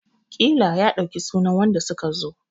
ƙila ya ɗauki sunan wanda suka zo!